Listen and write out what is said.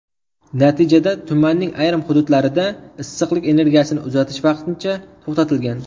Natijada tumanning ayrim hududlarda issiqlik energiyasini uzatish vaqtincha to‘xtatilgan.